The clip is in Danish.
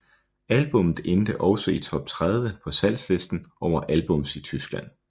Albummet endte også i top 30 på salgslisten over albums i Tyskland